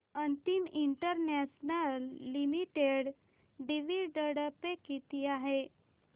Amit international limited dividend pay किती आहे